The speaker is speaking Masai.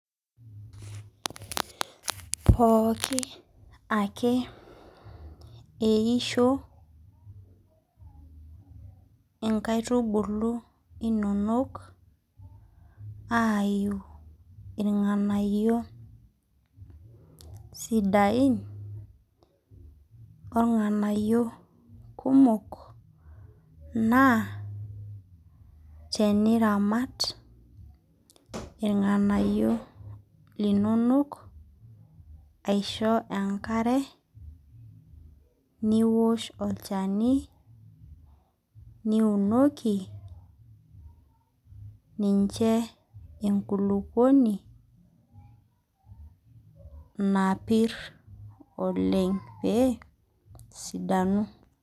Pooki ake pee eisho nkaitubulu inonok aiu irnganayio sidain ornganyio kumok naa teniramat irnganayio linonok aisho enkare ninoki enkulukuoni napir oleng pee esidanu.